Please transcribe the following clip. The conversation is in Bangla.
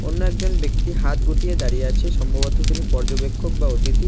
অন্য একজন ব্যক্তি হাত গুটিয়ে দাঁড়িয়ে আছে সম্ভবত তিনি পর্যবেক্ষক বা অতিথি।